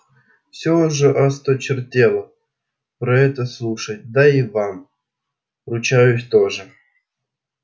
всё уже осточертело про это слушать да и вам ручаюсь тоже